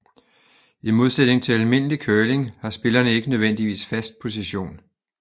I modsætning til almindelig curling har spillerne ikke nødvendigvis fast position